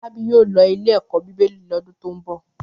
Fọlábí yóò lọ ilé-ẹ̀kọ́ Bíbélì lọ́dún tó ń bọ̀.